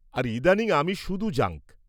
-আর ইদানীং আমি শুধু জাঙ্ক।